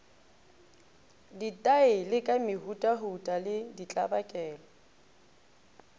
ditaele ka mehutahuta le ditlabakelo